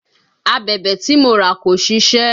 Abẹ̀bẹ̀ tí mo rà kò ṣisẹ́